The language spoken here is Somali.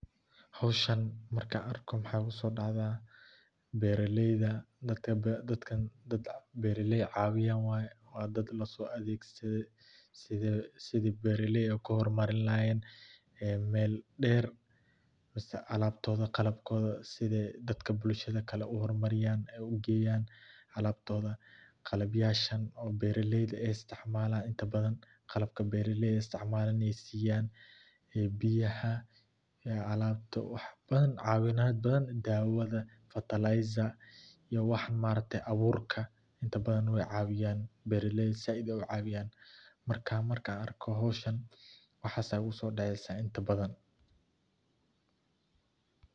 Xoshan marka argo maxa igu sodacdah baralayda dadkan dad barakayah cawiyan waye wad dad laso adagsadoh side sida baralay okle ku hormalini lahayan aa mal dar, masah alabtoda qalbkoda side dadka bulshada kle u hormariyan ay u gayan qalbtoda qalab yasha oo baralayda ay isticmalan inta baadan qalabka baralayda aya isticmalan ay siyan iyo biyaha iyo aqabta wax badan cawimad baadan dawada iyo faterlizer iyo wax martah aburka inta badan way cawiyan baralayda sii ay ucawiyan marka an argoh xoshan waxas aya igu sodacasah ibta baadan.